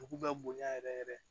Dugu bɛ bonya yɛrɛ yɛrɛ